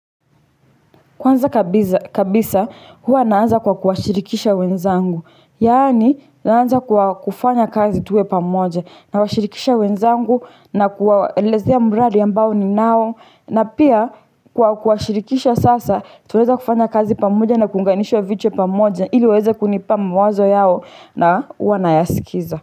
Kwanza kabisa, huwa naanza kwa kuashirikisha wenzangu. Yani, naanza kwa kufanya kazi tuwe pamoja. Nawashirikisha wenzangu na kuwaelezea mradi ambao ninao. Na pia, kwa kuwashirikisha sasa, tuweza kufanya kazi pamoja na kuunganishwa vichwa pamoja. Ili waeze kunipa mawazo yao na huwa na yaskiza.